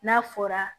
N'a fɔra